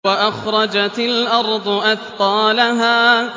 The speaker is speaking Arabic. وَأَخْرَجَتِ الْأَرْضُ أَثْقَالَهَا